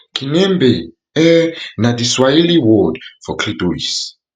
kinembe um na di swahili word for clitoris